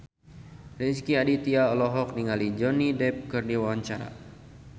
Rezky Aditya olohok ningali Johnny Depp keur diwawancara